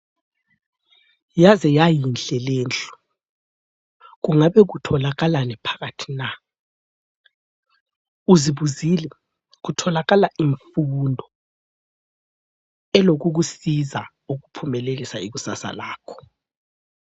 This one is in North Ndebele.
Yaze yayinhle lendlu! Kungabe kutholakalani phakathi na? Uzibuzile, kutholakala imfundo elokukusiza ukuphumelelisa ikusasa lakho.